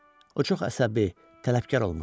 O çox əsəbi, tələbkar olmuşdu.